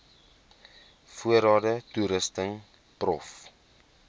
voorrade toerusting prof